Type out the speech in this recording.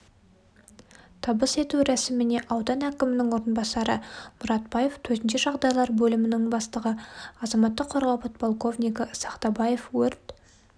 табыс ету рәсіміне аудан әкімінің орынбасары мұратбаев төтенше жағдайлар бөлімінің бастығы азаматтық қорғау подполковнигі сақтабаев өрт